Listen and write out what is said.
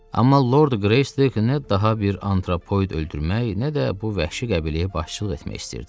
Amma Lord Greystoke nə daha bir antropoid öldürmək, nə də bu vəhşi qəbiləyə başçılıq etmək istirdi.